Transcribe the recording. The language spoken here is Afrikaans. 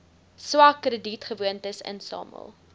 swak kredietgewoontes insamel